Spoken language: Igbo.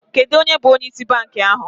Kedu onye bụ onye ịsị bankị ahụ?